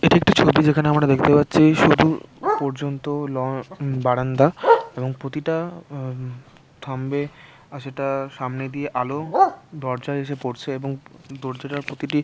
এটা একটা ছবি যেটা আমরা দেখতে পাচ্ছি সরু পর্যন্ত ল বারান্দা এবং প্রতিটা উম থাম্বে আর সেটা সামনে দিয়ে আলো দরজায় এসে পড়ছে এবং দরজাটার প্রতিটি--